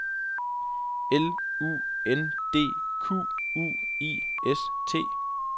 L U N D Q U I S T